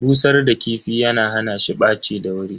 Busar da kifi yana hana shi ɓaci da wuri.